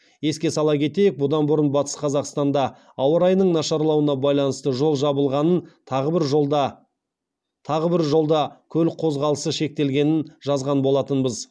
еске сала кетейік бұдан бұрын батыс қазақстанда ауа райының нашарлауына байланысты жол жабылғанын тағы бір жолда көлік қозғалысы шектелгенін жазған болатынбыз